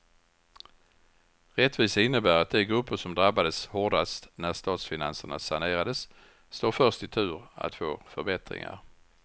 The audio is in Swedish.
Rättvisa innebär att de grupper som drabbades hårdast när statsfinanserna sanerades står först i tur att få förbättringar.